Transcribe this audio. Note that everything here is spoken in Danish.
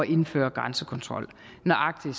indføre grænsekontrol nøjagtig